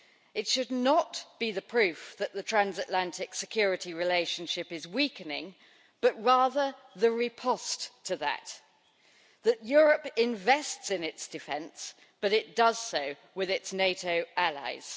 It should not be proof that the Transatlantic Security Relationship is weakening, but rather the riposte to that that Europe invests in its defence, but it does so with its NATO allies.